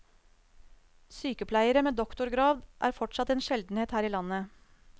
Sykepleiere med doktorgrad er fortsatt en sjeldenhet her i landet.